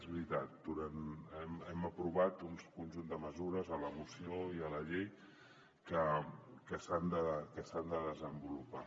és veritat hem aprovat un conjunt de mesures a la moció i a la llei que s’han de desenvolupar